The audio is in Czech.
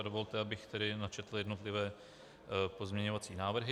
A dovolte, abych tedy načetl jednotlivé pozměňovací návrhy.